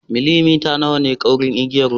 Millimita nawa ne kaurin igiya wutar?